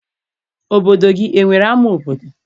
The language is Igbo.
Obodo gị enwere ama obodo?